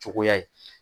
Cogoya ye